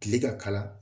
Kile ka kala